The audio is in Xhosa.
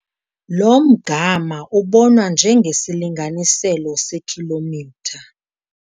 Lo mgama ubonwa njengesilinganiselo sekhilomitha